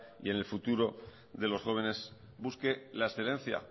y en el futuro de los jóvenes busque la excedencia